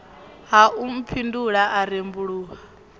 ha u mphindula a rembuluwa